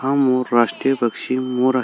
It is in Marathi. हा मोर राष्ट्रीय पक्षी मोर आ--